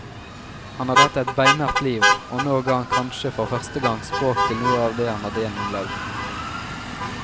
Han hadde hatt et beinhardt liv, og nå ga han kanskje for første gang språk til noe av det han hadde gjennomlevd.